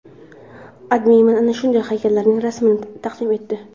AdMe ana shunday haykallarning rasmini taqdim etdi.